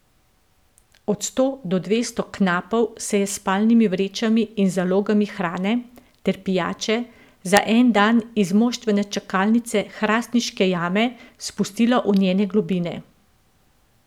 Od sto do dvesto knapov se je s spalnimi vrečami in z zalogami hrane ter pijače za en dan iz moštvene čakalnice hrastniške jame spustilo v njene globine.